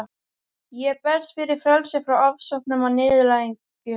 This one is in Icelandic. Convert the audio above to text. Ég berst fyrir frelsi frá ofsóknum og niðurlægingu.